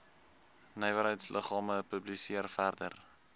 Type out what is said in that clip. nywerheidsliggame publiseer verder